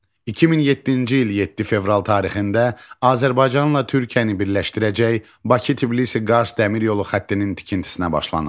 2007-ci il 7 fevral tarixində Azərbaycanla Türkiyəni birləşdirəcək Bakı-Tbilisi-Qars Dəmir Yolu Xəttinin tikintisinə başlanıldı.